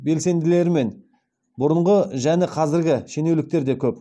белсенділері мен бұрынғы және қазіргі шенеуніктер де көп